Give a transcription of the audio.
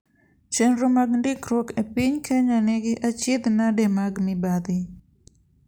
Chenro mag ndikruok epiny Kenya nigi achiedh nade mag mibadhi.